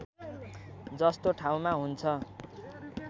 जस्तो ठाउँमा हुन्छ